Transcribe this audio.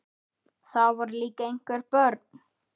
Það voru líka einhver börn.